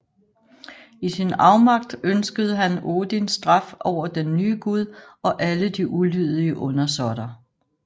I sin afmagt ønskede han Odins straf over den nye Gud og alle de ulydige undersåtter